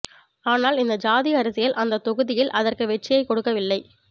ஆனால் இந்த ஜாதி அரசியல் அந்த தொகுதியில் அதற்கு வெற்றியைக் கொடுக்கவில்லை